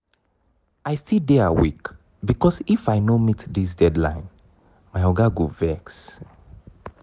i still dey awake because if i no meet dis deadline my oga go vex.